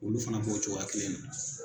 Olu fana b'o cogoya kelen na.